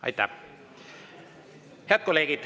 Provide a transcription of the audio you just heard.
Head kolleegid!